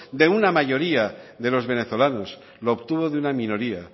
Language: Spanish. de una mayoría de los venezolanos lo obtuvo de una minoría